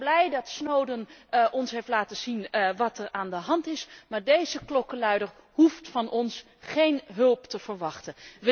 We zijn blij dat Snowden ons heeft laten zien wat er aan de hand is, maar deze klokkenluider hoeft van ons geen hulp te verwachten.